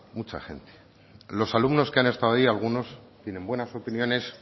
mucha gente los alumnos que han estado allí algunos tienen buenas opiniones